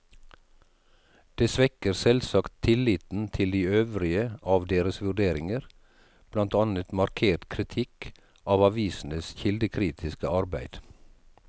Det svekker selvsagt tilliten til de øvrige av deres vurderinger, blant annet markert kritikk av avisenes kildekritiske arbeid.